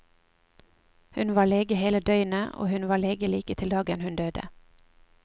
Hun var lege hele døgnet, og hun var lege like til dagen hun døde.